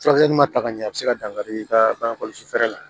Furakɛli ma ta ka ɲɛ a bɛ se ka dankari i ka bange kɔlɔsi fɛɛrɛ la